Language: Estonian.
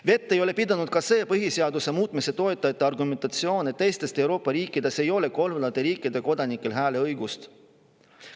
Vett ei ole pidanud ka see põhiseaduse muutmise toetajate argumentatsioon, et teistes Euroopa riikides ei ole kolmandate riikide kodanikel hääleõigust.